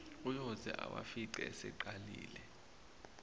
uyoze awafice eseqalile